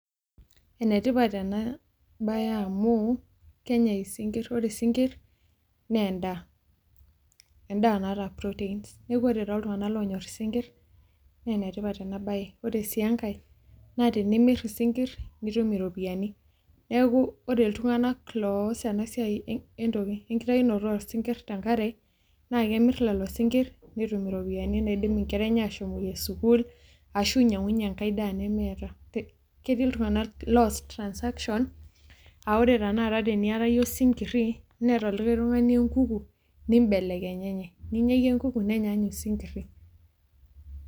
Enetipat ena baye naa amu kenyae isinkirr. Ore isinkirr naa endaa, endaa naata protein neaku ore too iltung'anak onyorr isinkirr naa enetipat ena baye. Ore sii enkae naa tenimirr isinkirr nitum iropiyani neaku ore iltung'anak loaas ena siai ekitayunoto oo sinkirr te enkare naa kemirr lelo sinkir netum iropiyani naidim inkera enye ashomoyie sukuul ashu inyangunyie enkae daa nemeeta ketii iltung'anak loas transaction aa ore tenakata teniata iyie osinkiri neata likae tung'ani ekuku nibelekenyenye ninya iyie ekuku nenya ninye osinkiri.